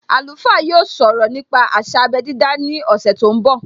Alùfá yóò sọ̀rọ̀ nípa àsà abé dídá ní ọ̀sẹ̀ tó ń bọ̀